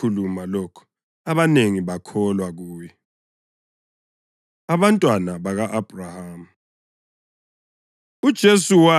Wathi esakhuluma lokhu abanengi bakholwa kuye. Abantwana Baka-Abhrahama